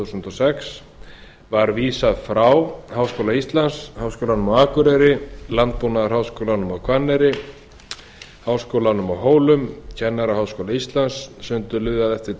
nú í haust var vísað frá háskóla íslands háskólanum á akureyri landbúnaðarháskólann á hvanneyri háskólann á hólum og kennaraháskóla íslands sundurliðað eftir